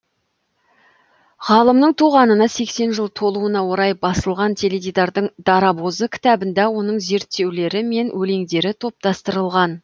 ғалымның туғанына сексен жыл толуына орай басылған теледидардың дарабозы кітабында оның зерттеулері мен өлеңдері топтастырылған